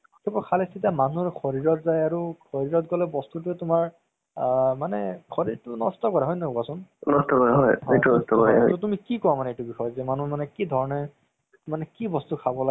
মানে ভগৱানৰ serial কেইটা মোক বহুত ভাল লাগে। তাৰ পৰা কিবা শিকিবলৈ পোৱা যায় না। আৰু আমিটো গম নাপাওঁ ভগৱানে কি কৰিছিলে আগতে কেনেকুৱা আছিলে। ধৰি লোৱা গিতা চিতা আমিটো গম নাপাওঁ ইমান। পঢ়াও নাই আমি।